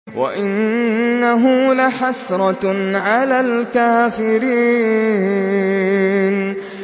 وَإِنَّهُ لَحَسْرَةٌ عَلَى الْكَافِرِينَ